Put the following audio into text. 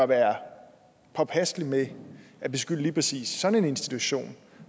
være påpasselig med at beskylde lige præcis sådan en institution